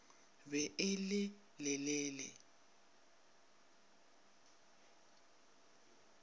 be e le le le